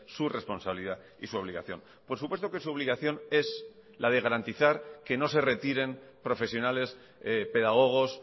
su responsabilidad y su obligación por supuesto que su obligación es la de garantizar que no se retiren profesionales pedagogos